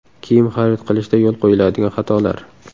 Kiyim xarid qilishda yo‘l qo‘yiladigan xatolar.